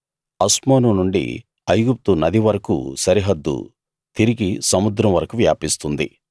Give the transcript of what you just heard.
అస్మోను నుండి ఐగుప్తు నది వరకూ సరిహద్దు తిరిగి సముద్రం వరకూ వ్యాపిస్తుంది